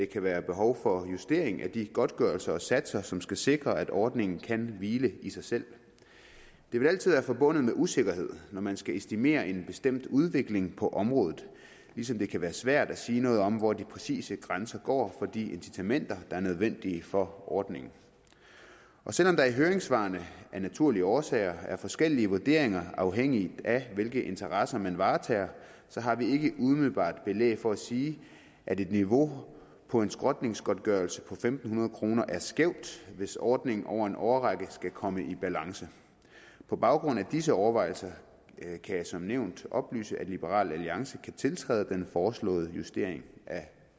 kan være behov for justering af de godtgørelser og satser som skal sikre at ordningen kan hvile i sig selv det vil altid være forbundet med usikkerhed når man skal estimere en bestemt udvikling på området ligesom det kan være svært at sige noget om hvor de præcise grænser går for de incitamenter der er nødvendige for ordningen og selv om der i høringssvarene af naturlige årsager er forskellige vurderinger afhængigt af hvilke interesser man varetager så har vi ikke umiddelbart belæg for at sige at et niveau for en skrotningsgodtgørelse på fem hundrede kroner er skævt hvis ordningen over en årrække skal komme i balance på baggrund af disse overvejelser kan jeg som nævnt oplyse at liberal alliance kan tiltræde den foreslåede justering af